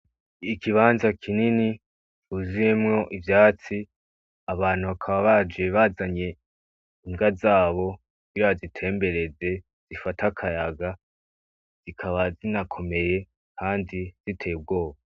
Ikibanza kinini cuzuyemwo ivyatsi , abantu bakaba baje bazanye imbwa zabo ,kugira bazitembereze zifate akayaga, zikaba zinakomeye kandi ziteye ubwoba.